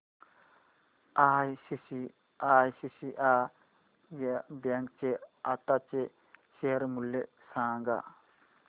ICICI bank चे आताचे share मूल्य सांगा